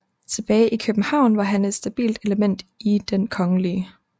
Tilbage i København var han et stabilt element i Den Kgl